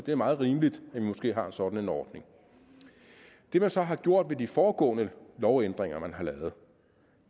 er meget rimeligt at vi har sådan en ordning det man så har gjort ved de foregående lovændringer man har lavet